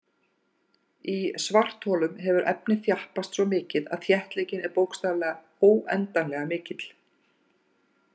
Í svartholum hefur efnið þjappast svo mikið að þéttleikinn er bókstaflega óendanlega mikill.